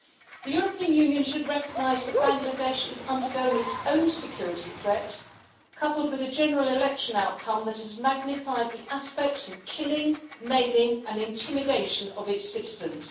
The European Union should recognise that Bangladesh is undergoing its own security threat coupled with a general election outcome that has magnified the aspects of killing, maiming and intimidation of its citizens.